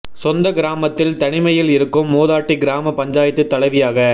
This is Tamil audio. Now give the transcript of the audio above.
சொந்த கிராமத்தில் தனிமையில் இருக்கும் மூதாட்டி கிராம பஞ்சாயத்து தலைவியாக